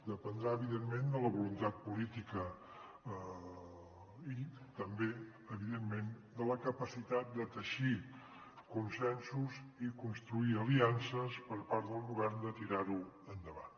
de·pendrà evidentment de la voluntat política i també evidentment de la capacitat de teixir consensos i construir aliances per part del govern i de tirar·ho endavant